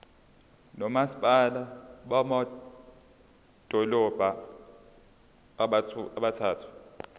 nomasipala bamadolobha abathathu